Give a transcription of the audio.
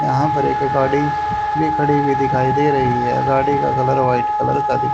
यहां पर एक गाड़ी भी खड़ी हुई दिखाई दे रही है गाड़ी का कलर वाइट कलर का दिख--